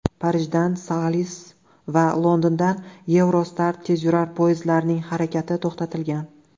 Parijdan Thalys va Londondan Eurostar tezyurar poyezdlarining harakati to‘xtatilgan.